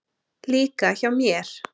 Líka hjá mér.